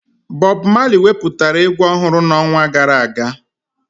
Bọb Mali wepụtara egwu ọhụrụ n'ọnwa gara aga